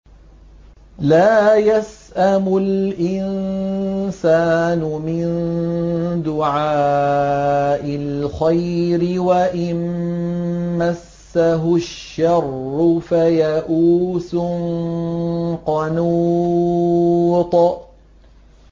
لَّا يَسْأَمُ الْإِنسَانُ مِن دُعَاءِ الْخَيْرِ وَإِن مَّسَّهُ الشَّرُّ فَيَئُوسٌ قَنُوطٌ